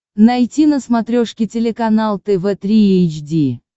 найти на смотрешке телеканал тв три эйч ди